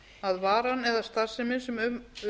að varan eða starfsemin sem um